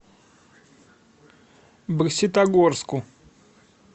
бокситогорску